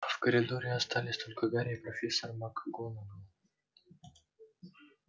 в коридоре остались только гарри и профессор макгонагалл